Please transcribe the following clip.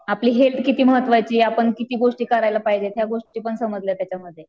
आपले हेल्थ किती महत्वाची आहे आपण किती गोष्टी करायला पाहिजे या गोष्टी पण समजल्या त्याच्यामध्ये.